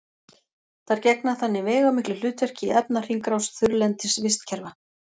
þær gegna þannig veigamiklu hlutverki í efnahringrás þurrlendis vistkerfa